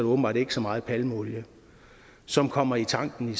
åbenbart ikke så meget palmeolie som kommer i tanken